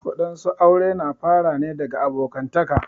Wadansu aure na fara ne daga abokantaka.